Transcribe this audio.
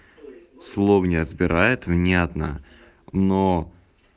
слово не отбирает внятно но